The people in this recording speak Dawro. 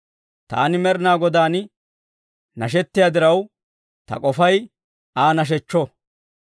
Taani Med'inaa Godaan nashettiyaa diraw, ta k'ofay Aa nashechcho.